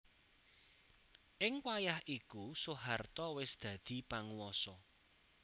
Ing wayah iku Soeharto wis dadi panguwasa